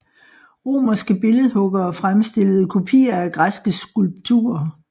Romerske billedhuggere fremstillede kopier af græske skulpturer